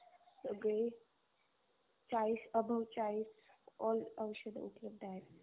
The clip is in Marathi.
सगळे चाळीस Above चाळीस all औषध उपलब्ध आहेत.